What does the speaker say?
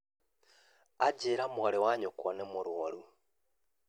Anjĩra atĩ mwarĩ wa nyũkwa nĩ mũrwaru